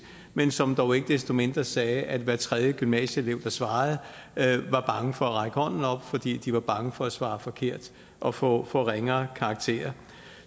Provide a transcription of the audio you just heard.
men som dog ikke desto mindre sagde at hver tredje gymnasieelev der svarede var bange for at række hånden op fordi de var bange for at svare forkert og få ringere karakterer